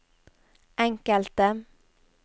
enkelte